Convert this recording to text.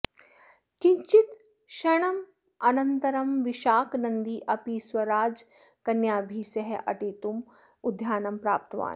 किञ्चित्क्षणानन्तरं विशाकनन्दी अपि स्वराजकन्याभिः सह अटितुम् उद्यानं प्राप्तवान्